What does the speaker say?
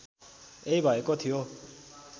यही भएको थियो